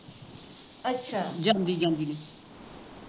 ਜਾਂਦੀ ਜਾਂਦੀ ਨੇ